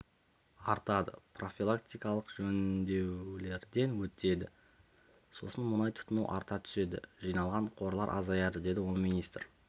артады профилактикалық жөндулерден өтеді сосын мұнай тұтыну арта түседі жиналған қорлар азаяды деді ол министр